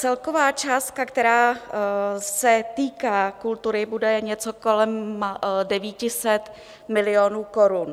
Celková částka, která se týká kultury, bude něco kolem 900 milionů korun.